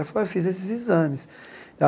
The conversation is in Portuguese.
Ela falou, eu fiz esses exames.